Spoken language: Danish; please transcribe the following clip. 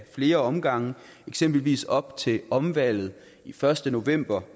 flere omgange eksempelvis op til omvalget den første november